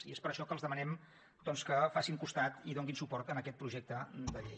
i és per això que els demanem doncs que facin costat i donin suport a aquest projecte de llei